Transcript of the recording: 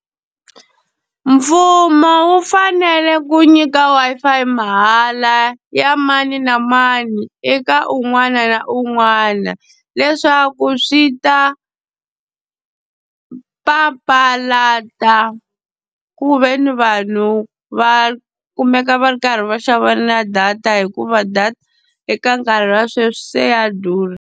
Mfumo wu fanele ku nyika Wi-Fi ya mahala ya mani na mani eka un'wana na un'wana, leswaku swi ta papalata ku ve ni vanhu va kumeka va ri karhi va xavana na data hikuva data eka nkarhi wa sweswi se ya durha.